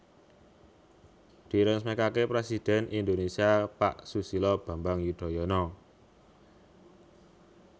Diresmekake Presiden Indonesia Pak Susilo Bambang Yudhoyono